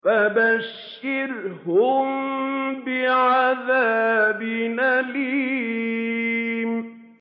فَبَشِّرْهُم بِعَذَابٍ أَلِيمٍ